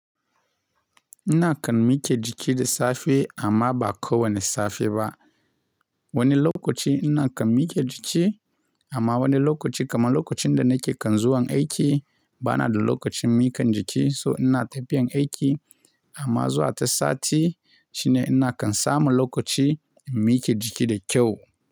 Ina kan mika jiki da safe amma ba ko wane safe ba. Wani lokaci ina kan mike jiki amma wani lokaci kamar lokacin da nake kan zuwan aiki bana da lokacin mika jiki so ina tafiyan aiki amma zuwa ta sati shine ina kan samu lokaci in mike jiki da kyau.